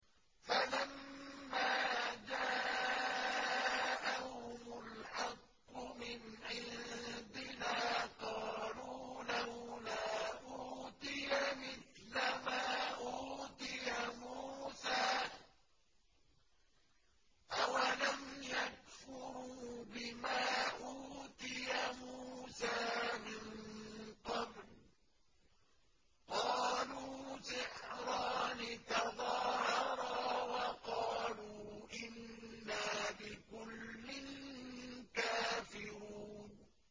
فَلَمَّا جَاءَهُمُ الْحَقُّ مِنْ عِندِنَا قَالُوا لَوْلَا أُوتِيَ مِثْلَ مَا أُوتِيَ مُوسَىٰ ۚ أَوَلَمْ يَكْفُرُوا بِمَا أُوتِيَ مُوسَىٰ مِن قَبْلُ ۖ قَالُوا سِحْرَانِ تَظَاهَرَا وَقَالُوا إِنَّا بِكُلٍّ كَافِرُونَ